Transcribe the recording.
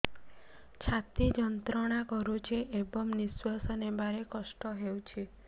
ଛାତି ଯନ୍ତ୍ରଣା କରୁଛି ଏବଂ ନିଶ୍ୱାସ ନେବାରେ କଷ୍ଟ ହେଉଛି